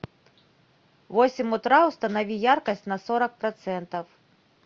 в восемь утра установи яркость на сорок процентов